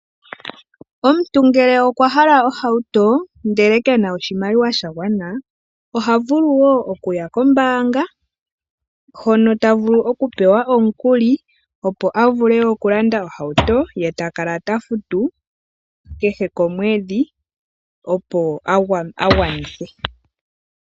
Omuntu ngele okwa hala ohauto ndele ke na oshimaliwa sha gwana, oha vulu woo okuya kombaanga hono ta vulu oku pewa omukuli ,opo avule oku landa ohauto ye takala ta futu kehe omwedhi opo agwanithe.